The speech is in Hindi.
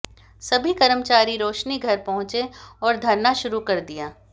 सभी कर्मचारी रोशनीघर पहुंचे और धरना शुरू कर दिया